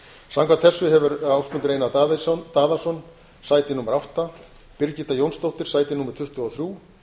samkvæmt þessu hefur ásmundur einar daðason sæti átta birgitta jónsdóttir sæti tuttugu og þrjú